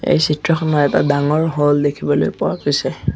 এই চিত্ৰখনত এটা ডাঙৰ হ'ল দেখিবলৈ পোৱা গৈছে।